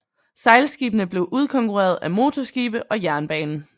Sejlskibene blev udkonkurreret af motorskibe og jernbane